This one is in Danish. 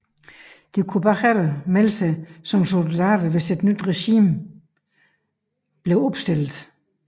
De kunne bagefter melde sig som soldater hvis et nyt regiment blev opstillet